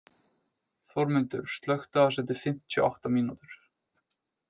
Þórmundur, slökktu á þessu eftir fimmtíu og átta mínútur.